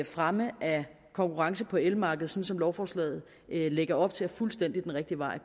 fremme af konkurrencen på elmarkedet som som lovforslaget lægger op til fuldstændig rigtige vej